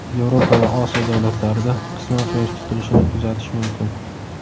Yevropa va Osiyo davlatlarida qisman Quyosh tutilishini kuzatish mumkin.